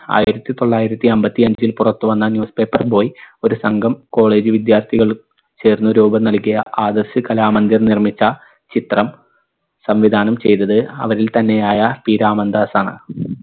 ആയിരത്തി തൊള്ളായിരത്തി അമ്പത്തിയഞ്ചിൽ പുറത്തു വന്ന newspaper boy ഒരു സംഘം college വിദ്യാർത്ഥികൾ ചേർന്ന് രൂപം നൽകിയ ആദർശ് കലാമന്ദിർ നിർമ്മിച്ച ചിത്രം സംവിധാനം ചെയ്തത് അവരിൽ തന്നെയായ P രാമൻദാസ് ആണ്